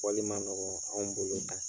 Wali ma nɔgɔn anw bolo tan.